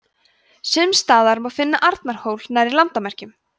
sums staðar má finna arnarhól nærri landamerkjum